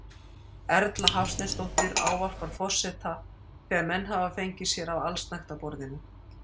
Erla Hafsteinsdóttir ávarpar forseta þegar menn hafa fengið sér af allsnægtaborðinu.